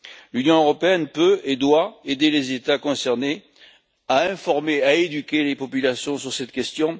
L'Union européenne peut et doit aider les États concernés à informer et à éduquer les populations sur cette question.